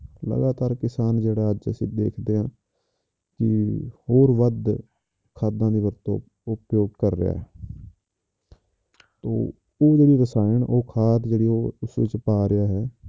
ਲਗਾਤਾਰ ਕਿਸਾਨ ਜਿਹੜਾ ਅੱਜ ਅਸੀਂ ਦੇਖਦੇ ਹਾਂ ਕਿ ਹੋਰ ਵੱਧ ਖਾਦਾਂ ਦੀ ਵਰਤੋਂ ਉਹ ਕ~ ਕਰ ਰਿਹਾ ਹੈ ਤੇ ਉਹ ਜਿਹੜੀ ਕਿਸਾਨ ਉਹ ਖਾਦ ਜਿਹੜੀ ਉਹ ਉਸ ਵਿੱਚ ਪਾ ਰਿਹਾ ਹੈ